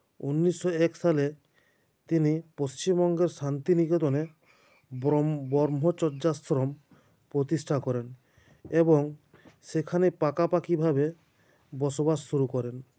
উনিশো এক সালে তিনি পশ্চিম বঙ্গের শান্তিনিকেতনে ব্রম ব্রহ্মচর্যাশ্রম প্রতিষ্ঠা করেন এবং সেখানে পাকাপাকিভাবে বসবাস শুরু করেন